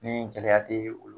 Ni gɛlɛya tɛ